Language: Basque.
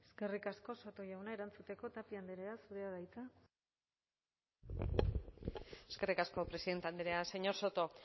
eskerrik asko soto jauna erantzuteko tapia andrea zurea da hitza eskerrik asko presidente andrea señor soto